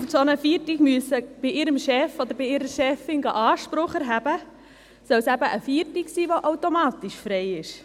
Damit die Frauen bei ihrem Chef oder bei ihrer Chefin nicht auf einen solchen Feiertag Anspruch erheben gehen müssen, soll es eben ein Feiertag sein, der automatisch frei ist.